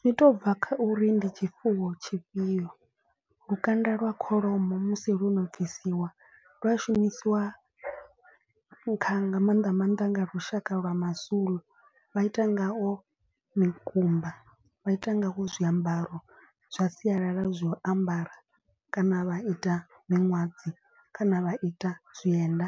Zwi to bva kha uri ndi tshifuwo tshifhio, lukanda lwa kholomo musi lo no bvisiwa lwa shumisiwa kha nga maanḓa maanḓa nga lushaka lwa mazulu. Vha ita ngao mikumba vha ita ngawo zwiambaro zwa sialala zwa u ambara kana vha ita miṅwadzi kana vha ita zwienda.